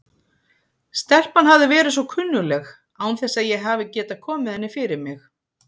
Stelpan hafði verið svo kunnugleg án þess að ég hafi getað komið henni fyrir mig.